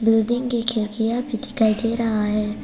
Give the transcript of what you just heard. Building की खिड़कियां भी दिखाई दे रहा है।